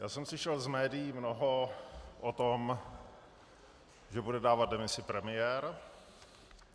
Já jsem slyšel z médií mnoho o tom, že bude dávat demisi premiér.